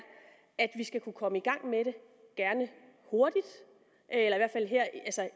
at vi skal kunne komme i gang med det gerne hurtigt eller